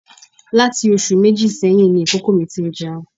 Láti oṣù méjì sẹ́yìn ni ìkókó mi ti ń jẹun